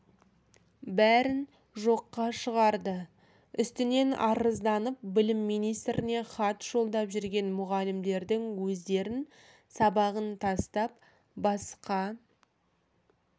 бәрін жоққа шығарды үстінен арызданып білім министріне хат жолдап жүрген мұғалімдердің өздерін сабағын тастап басқа